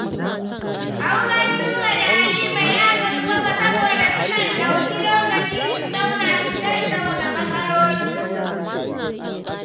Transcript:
Auren Nura da Halima ya ƙarfafa saboda sukan ɗauki lokaci su zauna su tattauna matsalolinsu.